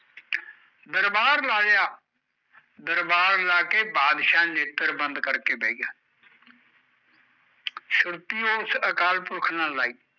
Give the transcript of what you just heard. ਦਰਬਾਰ ਲਾ ਲਿਆ ਦਰਬਾਰ ਲਾਕੇ ਬਾਦਸ਼ਾਹ ਨੇਤਰ ਬੰਦ ਕਰਕੇ ਬਹਿ ਗਿਆ ਸੁਰਤੀ ਓਸ ਅਕਾਲ ਪੁਰਖ ਨਾਲ਼ ਲਾਈ